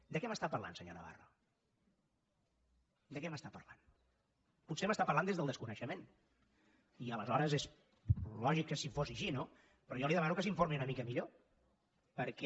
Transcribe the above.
de què m’està parlant senyor navarro de què m’està parlant potser m’està parlant des del desconeixement i aleshores és lògic que s’hi posi així no però jo li demano que s’informi una mica millor perquè